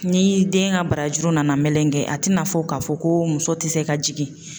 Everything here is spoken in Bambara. Ni den ka barajuru nana melengen a tina fɔ k'a fɔ ko muso ti se ka jigin.